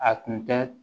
A tun tɛ